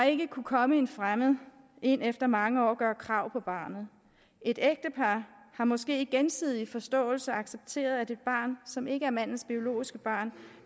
ikke kunne komme en fremmed ind efter mange år og gøre krav på barnet et ægtepar har måske i gensidig forståelse accepteret at et barn som ikke er mandens biologiske barn